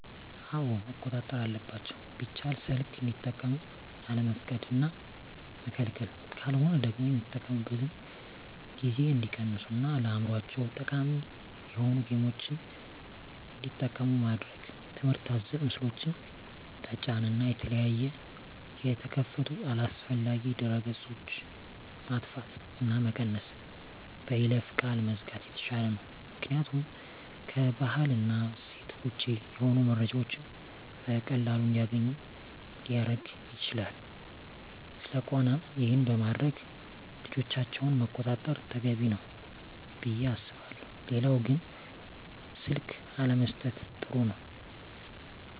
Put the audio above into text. አወ መቆጣጠር አለባቸው ቢቻል ሰልክ እንዲጠቀሙ አለመፍቀድ እና መከልከል ካለሆነ ደግሞ የሚጠቀሚበትን ጊዜ እንዲቀንሡ እና ለአዕምሮቸው ጠቃሚ የሆኑ ጌምችን እንዲጠቀሙ ማድረግ ትምህርት አዘል ምስሎችን ጠጫን እና የተለያየ የተከፈቱ አላስፈላጊ ድህረ ገፆች ማጥፍት እና መቀነስ በይለፈ ቃል መዝጋት የተሻለ ነው ምክኒያቱም ከባህል እና እሴት ወጭ የሆኑ መረጃዎችን በቀላሉ እንዲገኙ ሊረግ ይችላል ስለቆነም ይሄን በማድረግ ልጆቻቸውን መቆጣጠር ተገቢ ነው። ብየ አስባለሁ ሌላው ግን ስልክ አለመሠጠት ጥሩ ነው